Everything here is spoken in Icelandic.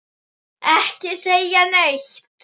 Ekki segja neitt!